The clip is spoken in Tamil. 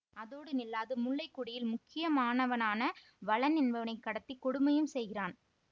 அதோடு நில்லாது முல்லைக்கொடியில் முக்கியமானவனான வளன் என்பவனை கடத்திக் கொடுமையும் செய்கிறான்